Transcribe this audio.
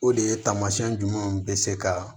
O de ye taamasiyɛn jumɛnw bɛ se ka